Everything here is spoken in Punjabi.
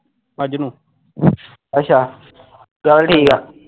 ਅੱਛਾ ਚੱਲ ਠੀਕ ਆ